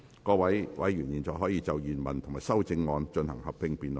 各位委員現在可以就原條文及修正案進行合併辯論。